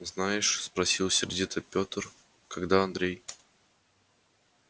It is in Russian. знаешь спросил сердито пётр когда андрей